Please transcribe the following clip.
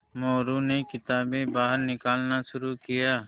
मोरू ने किताबें बाहर निकालना शुरू किया